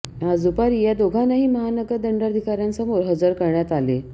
आज दुपारी या दोघांनाही महानगर दंडाधिकाऱ्यांसमोर हजर करण्यात आले